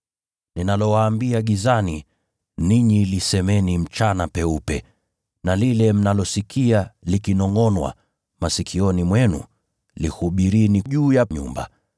Ninalowaambia gizani, ninyi lisemeni mchana peupe. Na lile mnalosikia likinongʼonwa masikioni mwenu, lihubirini juu ya nyumba.